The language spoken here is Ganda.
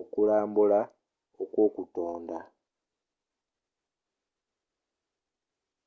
okulambula kwokutonda